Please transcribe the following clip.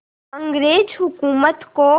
अंग्रेज़ हुकूमत को